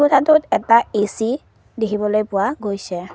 কোঠাটোত এটা এ_চি দেখিবলৈ পোৱা গৈছে।